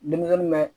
Denmisɛnnin mɛ